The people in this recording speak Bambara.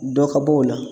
Dɔ ka bɔ o la